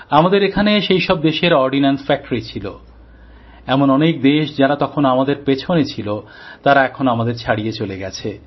আমাদের এখানে সেই সব দেশের অর্ডন্যান্স ফ্যাক্টরি ছিল౼এমন অনেক দেশ যারা তখন আমাদের পিছনে ছিল তারা এখন আমাদের ছাড়িয়ে চলে গেছে